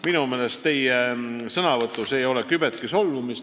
Minu meelest ei olnud teie sõnavõtus kübetki solvumist.